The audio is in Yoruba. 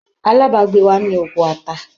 Alábàgbé wa ni oko ata.